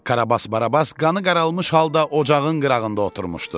Karabas Barabas qanı qaralmış halda ocağın qırağında oturmuşdu.